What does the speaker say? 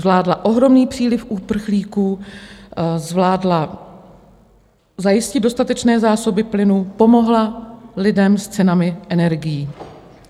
Zvládla ohromný příliv uprchlíků, zvládla zajistit dostatečné zásoby plynu, pomohla lidem s cenami energií.